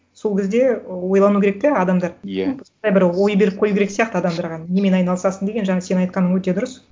сол кезде ы ойлану керек те адамдар иә бір ой беріп қою керек сияқты адамдарға немен айналысасың деген жаңа сен айтқаның өте дұрыс